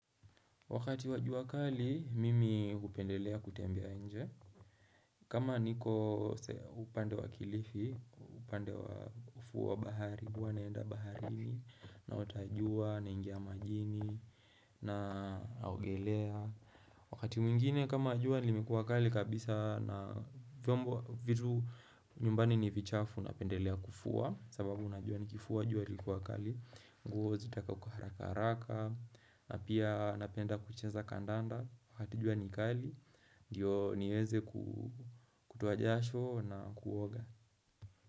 Wakati wa jua kali, mimi hupendelea kutembea nje. Kama niko upande wa kilifi, upande wa kufua bahari, kwa naenda baharini, naotajua, naingia majini, naogelea. Wakati mwingine kama jua, limekuwa kali kabisa, na vitu nyumbani ni vichafu, napendelea kufua, sababu najua nikifua, jua likuwa kali, nguo zitakauk haraka haraka na pia napenda kucheza kandanda wakatijua nikali Ndiyo niweze kutoajasho na kuoga.